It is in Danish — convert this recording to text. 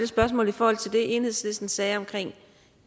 spørgsmål i forhold til det enhedslisten sagde omkring